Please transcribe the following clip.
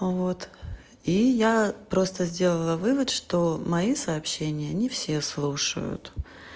вот и я просто сделала вывод что мои сообщения не все слушают